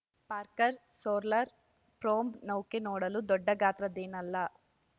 Parker solar probe ನೌಕೆ ನೋಡಲು ದೊಡ್ಡ ಗಾತ್ರದ್ದೇನಲ್ಲ